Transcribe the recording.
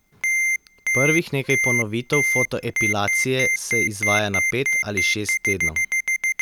Prvih nekaj ponovitev fotoepilacije se izvaja na pet ali šest tednov.